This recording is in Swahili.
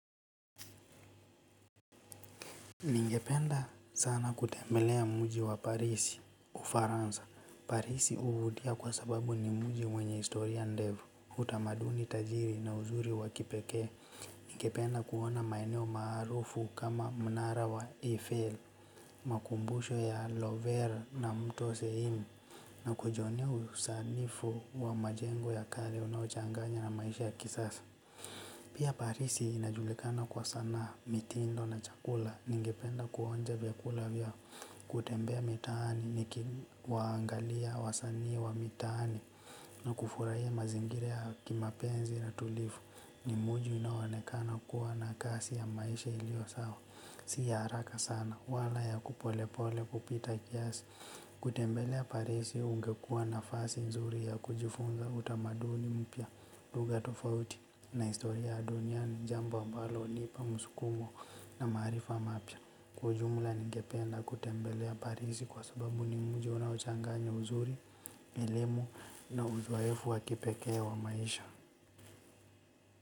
Ningependa sana kutembelea mji wa Parisi ufaransa. Parisi huvutia kwa sababu ni mji mwenye historia ndefu. Utamaduni tajiri na uzuri wa kipekee. Ningependa kuona maeneo maarufu kama mnara wa Eiffel, makumbusho ya Lover na mtu wa sehemu na kujionea usanifu wa majengo ya kale unaochanganya na maisha ya kisasa. Pia parisi inajulikana kwa sana mitindo na chakula, ningependa kuonja vyakula vya, kutembea mitaani, nikiwaangalia, wasani wa mitaani, na kufurahia mazingira ya kimapenzi na tulivu, ni mji unao onekana kuwa na kasi ya maisha ilio sawa. Si ya haraka sana wala ya polepole kupita kiasi. Kutembelea parisi ungekua nafasi nzuri ya kujifunza utamaduni mpya. Lugha tofauti na historia duniani jambo ambalo hunipa msukumo na maarifa mapya. Kwa ujumla ningependa kutembelea parisi kwa sababu ni mji unaochanganya uzuri elimu na uzoefu wakipekee wa maisha.